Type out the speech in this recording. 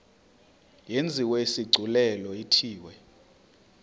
yenziwe isigculelo ithiwe